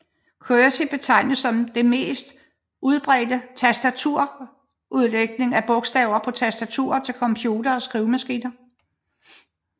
QWERTY betegner det mest udbredte tastaturudlægning af bogstaverne på tastaturer til computere og skrivemaskiner